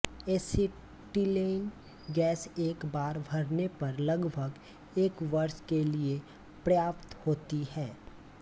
acetylene gas एक बार भरने पर लगभग एक वर्ष के लिए पर्याप्त होती है